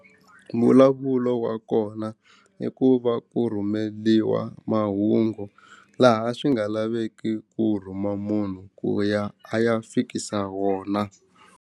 Mbulavulo wa kona i ku va ku rhumeliwa mahungu laha swi nga lavekiku ku rhuma munhu ku ya a ya fikisa wona.